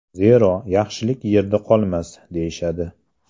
Zero, yaxshilik yerda qolmas, deyishadi.